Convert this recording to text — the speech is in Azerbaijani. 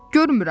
Görmürəm.